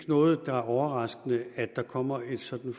noget overraskende i at der kommer sådan